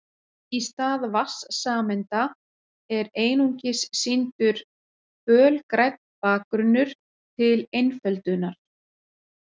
Í stað vatnssameinda er einungis sýndur fölgrænn bakgrunnur til einföldunar.